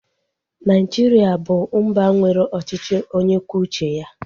Naijiria bụ mba nwere ọchịchị onye kwuo uche ya